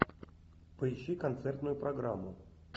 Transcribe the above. поищи концертную программу